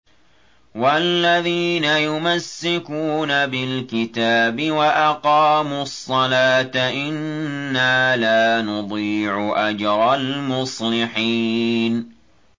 وَالَّذِينَ يُمَسِّكُونَ بِالْكِتَابِ وَأَقَامُوا الصَّلَاةَ إِنَّا لَا نُضِيعُ أَجْرَ الْمُصْلِحِينَ